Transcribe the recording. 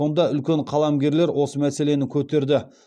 сонда үлкен қаламгерлер осы мәселені көтерді